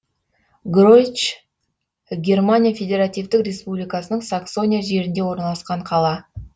гройч германия федеративтік республикасының саксония жерінде орналасқан қала